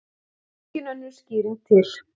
Engin önnur skýring til.